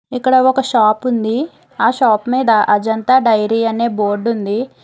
ఇక్కడ ఒక షాప్ ఉంది ఆ షాప్ మీద అజంతా డైరీ అనే బోర్డు ఉంది.